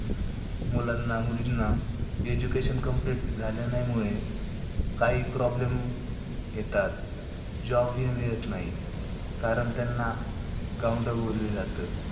मुलांना मुलींना education complete झाल्या नाही मुळे काही problem येतात. job ही मिळत नाही, कारण त्यांना गावंढळ बोलले जाते.